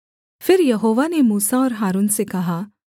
फिर यहोवा ने मूसा और हारून से कहा